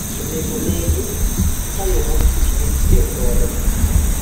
onego onegi kaka yo mogik mitiyo kodo